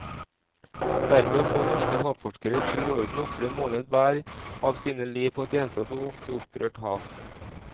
Dermed må norske havforskere i tur og orden ofre én måned hver av sine liv på et ensomt og ofte opprørt hav.